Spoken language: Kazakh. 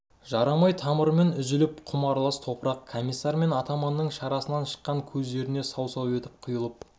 жарамай тамырымен үзіліп құм аралас топырақ комиссар мен атаманның шарасынан шыққан көздеріне сау-сау етіп құйылып